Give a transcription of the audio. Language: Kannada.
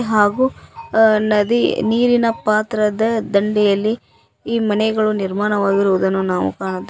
ಹಾಗು ಅ ನದಿ ನೀರಿನ ಪಾತ್ರದ ದಂಡೆಯಲ್ಲಿ ಈ ಮನೆಗಳು ನಿರ್ಮಾಣವಾಗಿರುವುದನ್ನು ನಾವು ಕಾಣುತ್ತೇ--